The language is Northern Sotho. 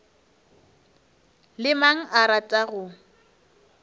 le mang o rata go